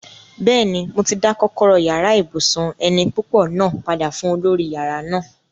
Bẹ́ẹ̀ni, mo ti dá kọ́kọ́rọ́ yàrá ibùsùn eni púpọ̀ náà padà fún olórí yàrá náà